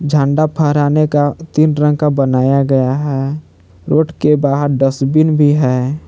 झंडा फहराने का तीन रंग का बनाया गया है रोड के बाहर डस्टबिन भी है।